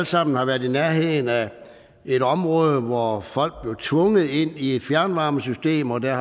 sammen har været i nærheden af et område hvor folk var blevet tvunget ind i et fjernvarmesystem og der